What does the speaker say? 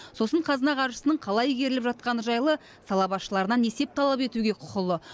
сосын қазына қаржысының қалай игеріліп жатқаны жайлы сала басшыларынан есеп талап етуге құқылы